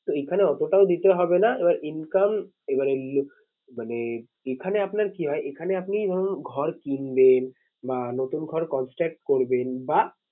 তো এইখানে অতটাও দিতে হবে না। এবার income এবার মানে এখানে আপনার কি হয় এখানে আপনি ধরুন ঘর কিনলেন বা নতুন ঘর construct করবেন বা